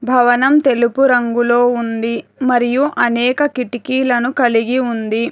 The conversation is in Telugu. భవనం తెలుపు రంగులో ఉంది మరియు అనేక కిటికీలను కలిగి ఉంది.